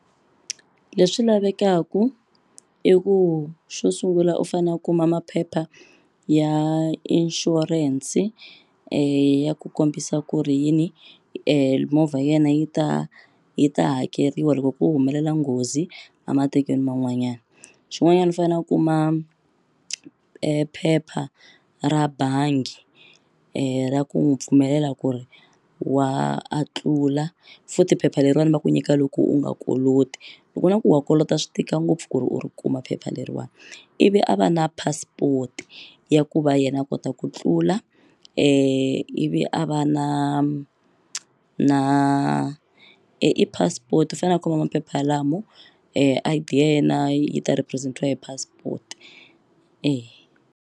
Leswi lavekaku i ku xo sungula u fane u kuma maphepha ya inshurense ya ku kombisa ku ri yini movha yena yi ta yi ta hakeriwa loko ku humelela nghozi a matikweni man'wanyani xin'wanyani u fane a kuma e phepha ra bangi ra ku n'wu pfumelela ku ri wa a tlula futhi phepha leriwani va ku nyika loko u nga koloti loko u vona ku wa kolota swi tika ngopfu ku ri u ri kuma phepha leriwani ivi a va na passport ya ku va yena a kota ku tlula ivi a va na na i passport fane a kuma maphepha ya lamo I_D ya yena yi ta represent-iwa hi passport .